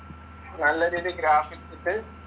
നല്ല രീതി ഗ്രാഫിക്സ് ഇട്ട്